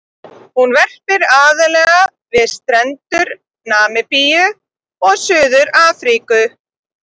Hún verpir aðallega við strendur Namibíu og Suður-Afríku.